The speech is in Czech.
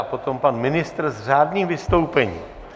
A potom pan ministr s řádným vystoupením.